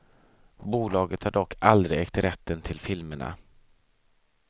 Bolaget har dock aldrig ägt rätten till filmerna.